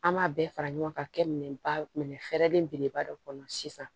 An b'a bɛɛ fara ɲɔgɔn kan ka kɛ minɛn ba minɛ fɛɛrɛlen beleba dɔ kɔnɔ sisan